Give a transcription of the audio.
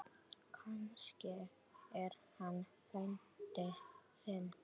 Kannski er hann frændi þinn.